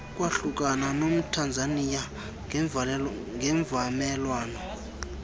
kwahlukana nomthanzaniya ngemvumelwano